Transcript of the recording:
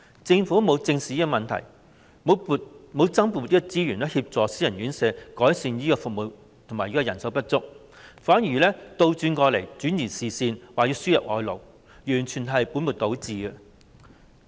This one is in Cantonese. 政府沒有正視這問題，沒有增撥資源協助私營院舍改善服務和解決人手不足問題，反而轉移視線，提出輸入外勞，這完全是本末倒置的。